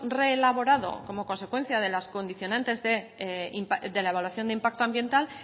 reelaborado como consecuencia de las condicionantes de la evaluación de impacto ambiental